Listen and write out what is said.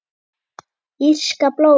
Írska blóðið?